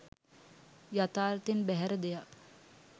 යථාර්ථයෙන් බැහැර දෙයක්